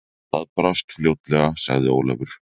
Það brást fljótlega, sagði Ólafur.